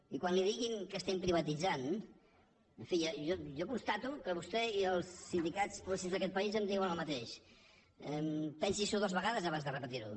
i quan li diguin que estem privatitzant en fi jo constato que vostè i els sindicats progressistes d’aquest país em diuen el mateix pensi·s’ho dues vegades abans de repetir·ho